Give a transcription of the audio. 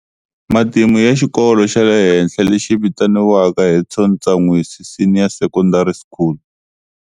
Matimu ya Xikolo xa le henhla lexi vitaniwaka Hudson Ntsanwisi Senior Secondary School.